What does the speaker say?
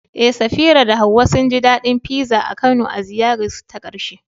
Eh, Safira da Hawwa sun ji daɗin pizza a Kano a ziyararsu ta ƙarshe.